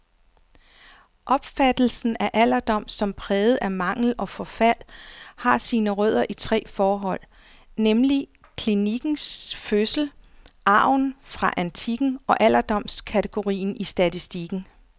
Opfattelsen af alderdom som præget af mangel og forfald, har sine rødder i tre forhold, nemlig klinikkens fødsel, arven fra antikken og alderdomskategorien i statistikken.